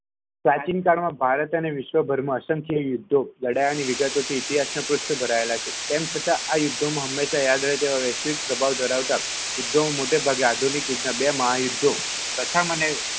પ્રાચીનકાળમાં ભારત અને વિશ્વભરમાં અસંખ્ય યુધ્ધો લડ્યા અને વિગતોથી ઈતિહાસમાં પુષ્ટ ભરાયેલા છે તેમ છતાં આ યુદ્ધમાં હંમેશા યાદ રહે તેવા વૈશ્વિક દબાવ ધરાવતા યુધ્ધો મોટાભાગે આધુનિક યુગમા બે મહાયુદ્ધ પ્રથમ અને